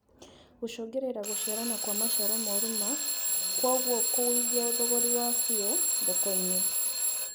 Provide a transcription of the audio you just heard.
Gũcũngĩrĩria gũciarana Kwa maciaro moru ma kwoguo kũgũithia thogorĩ wafio thoko-inĩ